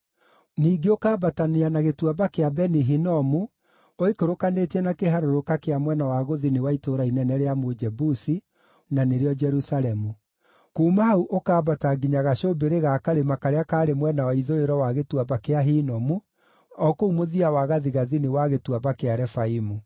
Ningĩ ũkambatania na Gĩtuamba kĩa Beni-Hinomu ũikũrũkanĩtie na kĩharũrũka kĩa mwena wa gũthini wa itũũra inene rĩa Mũjebusi (na nĩrĩo Jerusalemu). Kuuma hau ũkambata nginya gacũmbĩrĩ ga karĩma karĩa karĩ mwena wa ithũĩro wa Gĩtuamba kĩa Hinomu o kũu mũthia wa gathigathini wa Gĩtuamba kĩa Refaimu.